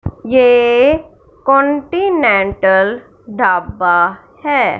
ये कॉन्टिनेंटल ढाबा है।